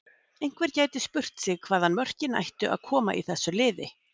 Einhver gæti spurt sig hvaðan mörkin ættu að koma í þessu liði?